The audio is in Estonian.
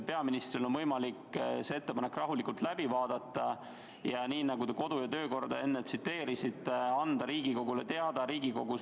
Peaministril on võimalik see ettepanek rahulikult läbi mõelda ja nii, nagu te kodu- ja töökorda enne tsiteerisite, anda oma otsusest Riigikogule teada.